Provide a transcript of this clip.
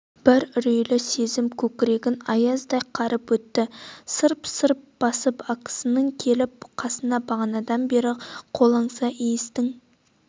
бір үрейлі сезім көкірегін аяздай қарып өтті сырп-сырп басып акасын келді қасына бағанадан бері қолаңса иістің